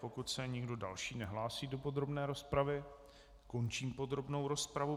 Pokud se nikdo další nehlásí do podrobné rozpravy, končím podrobnou rozpravu.